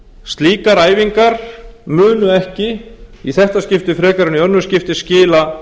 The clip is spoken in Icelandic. slíkar æfingar munu ekki í þetta skipti frekar en í önnur skipti skila